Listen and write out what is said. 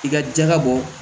I ka jaga bɔ